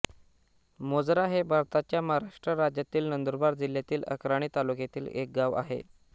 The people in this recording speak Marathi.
मोजरा हे भारताच्या महाराष्ट्र राज्यातील नंदुरबार जिल्ह्यातील अक्राणी तालुक्यातील एक गाव आहे